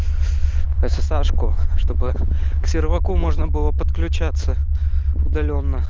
ссашку чтобы к серваку можно было подключаться удалённо